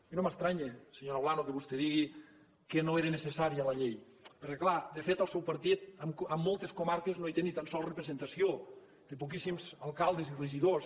i no m’estranya senyora olano que vostè digui que no era necessària la llei perquè clar de fet el seu partit en moltes comarques no hi té ni tan sols representació té poquíssims alcaldes i regidors